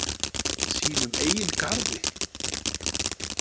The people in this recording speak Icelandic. Sínum eigin garði?